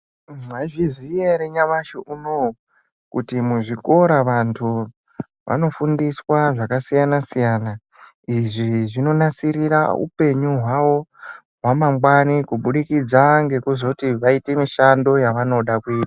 Mwaizviziya ere nyamashi unowu kuti muzvikora vantu vanofundiswa zvakasiyana-siyana. Izvi zvinonasirira upenyu hwavo hwamangwani kubudikidza ngekuzoti vaite mishando yavanoda kuita.